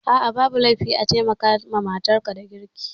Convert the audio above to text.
A'a babu laifi a taimaka wa matar ka da girki